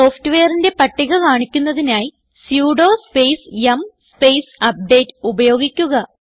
സോഫ്റ്റ്വെയറിന്റെ പട്ടിക കാണിക്കുന്നതിനായി സുഡോ സ്പേസ് യും സ്പേസ് അപ്ഡേറ്റ് ഉപയോഗിക്കുക